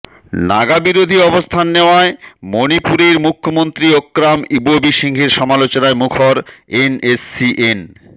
নাগা বিরোধী অবস্থান নেওয়ায় মণিপুরের মুখ্যমন্ত্রী ওক্রাম ইবোবি সিংহের সমালোচনায় মুখর এনএসসিএন